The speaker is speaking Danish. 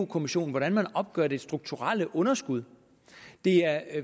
kommissionen hvordan man opgør det strukturelle underskud det er